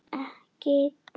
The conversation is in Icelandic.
Tæknin og lífskjörin